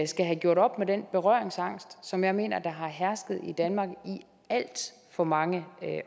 skal have gjort op med den berøringsangst som jeg mener der har hersket i danmark i alt for mange